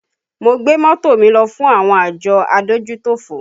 Mo gbé mọ́tò mi lọ fún àwọn àjọ adójútòfò